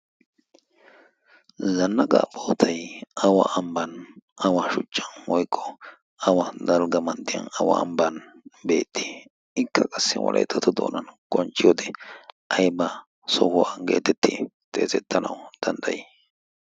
zanaqqa bootay awa sohuwa, awa amban beetti? ikka wolayttatto doonan qoncciyode awa sohuwa geetettanawu danddayettii?